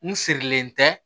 N sirilen tɛ